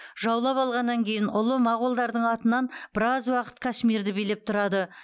жаулап алғаннан кейін ұлы моғолдардың атынан біраз уақыт кашмирді билеп тұрады